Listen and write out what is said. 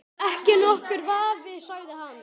Ekki nokkur vafi sagði hann.